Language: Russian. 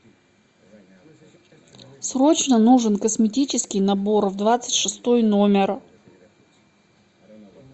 срочно нужен косметический набор в двадцать шестой номер